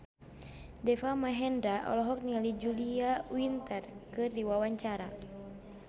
Deva Mahendra olohok ningali Julia Winter keur diwawancara